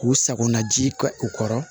K'u sagona ji kɛ u kɔrɔ